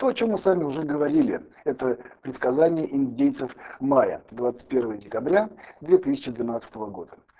то о чём мы с вами уже говорили это предсказание индейцев майя двадцать первое декабря две тысячи двенадцатого года